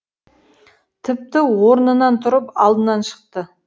тіпті орнынан тұрып алдынан шықты